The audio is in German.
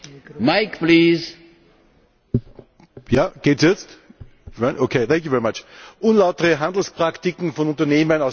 Herr Präsident! Unlautere Handelspraktiken von Unternehmen aus Drittstaaten haben verheerende Auswirkungen auf die europäische Industrie.